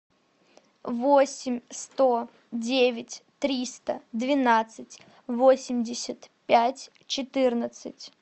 восемь сто девять триста двенадцать восемьдесят пять четырнадцать